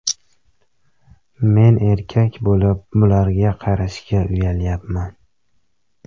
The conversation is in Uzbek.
Men erkak bo‘lib bularga qarashga uyalyapman.